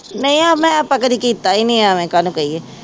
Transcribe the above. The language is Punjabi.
ਨਹੀਂ ਮੈਂ ਆਪਾਂ ਕਦੇ ਕੀਤਾ ਹੀ ਨੀ ਇਵੇਂ ਕਾਹਨੂੰ ਕਹੀਏ।